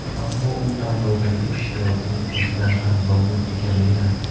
Ammo u tanlovdagi ishtirokining o‘zidan ham mamnun ekanligini aytdi.